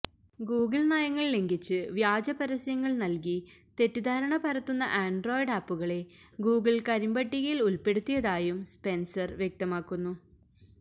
Google നയങ്ങള് ലംഘിച്ച് വ്യാജപരസ്യങ്ങള് നൽകി തെറ്റിദ്ധാരണ പരത്തുന്ന ആന്ഡ്രോയിഡ് ആപ്പുകളെ ഗൂഗിള് കരിമ്പട്ടികയില് ഉള്പ്പെടുത്തിയതായും സ്പെന്സര് വ്യക്തമാക്കുന്നു